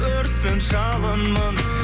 өртпін жалынмын